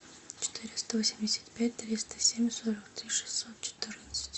четыреста восемьдесят пять триста семь сорок три шестьсот четырнадцать